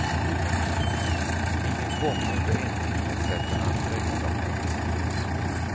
Ingen gång under en timme släppte han greppet om händelserna.